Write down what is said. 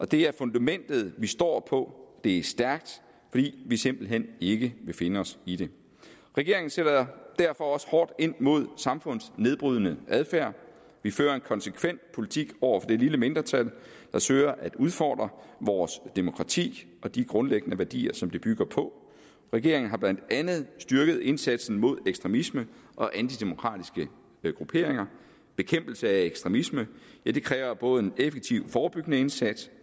det er fundamentet vi står på det er stærkt fordi vi simpelt hen ikke vil finde os i det regeringen sætter derfor også hårdt ind mod samfundsnedbrydende adfærd vi fører en konsekvent politik over for det lille mindretal der søger at udfordre vores demokrati og de grundlæggende værdier som det bygger på regeringen har blandt andet styrket indsatsen mod ekstremisme og antidemokratiske grupperinger bekæmpelse af ekstremisme kræver både en effektiv forebyggende indsats